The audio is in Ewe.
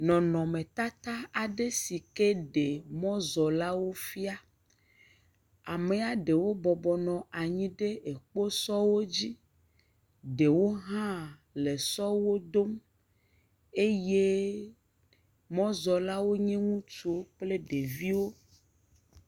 Nɔnɔmetata aɖe si ke ɖe mɔzɔlawo fia, amea ɖewo bɔbɔ nɔ anyi ɖe kposɔ dzi, ɖewo hã le sɔwo dom eye mɔzɔlawo nye ŋutsu kple ɖeviwo.